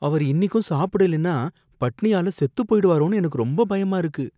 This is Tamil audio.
அவர் இன்னிக்கும் சாப்பிடலைன்னா பட்டினியால செத்து போய்டுவாரோன்னு எனக்கு ரொம்ப பயமா இருக்கு.